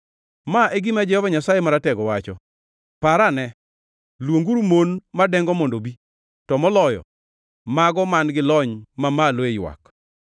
Ma e gima Jehova Nyasaye Maratego wacho: “Parane! Luonguru mon madengo mondo obi; to moloyo mago man-gi lony mamalo e ywak.